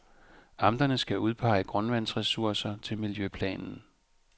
Amterne skal udpege grundvandsressourcer til miljøplanen.